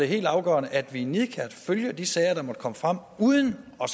helt afgørende at vi nidkært følger de sager der måtte komme frem uden at